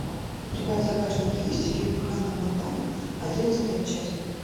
у тебя в загашнике есть фильм ханна монтана одиннадцатая часть